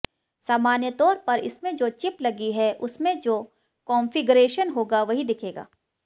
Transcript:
सामान्य तौर पर इसमें जो चिप लगी है उसमें जो कॉन्फिगरेशन होगा वही दिखेगा